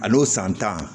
A n'o san tan